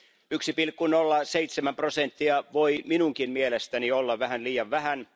1,07 prosenttia voi minunkin mielestäni olla vähän liian vähän.